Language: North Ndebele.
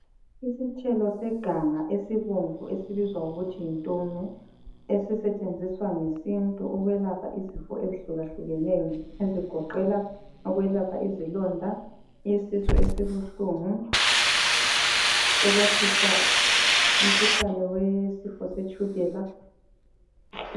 Isithelo seganga esibomvu esibizwa ngokuthi yintume esisetshenziswa ngesintu ukwelapha izifo ezihlukahlukeneyo, ezigoqela ukwelapha izilonda, isisu esibuhlungu, ukwehlisa umkhuhlane wesifo setshukela.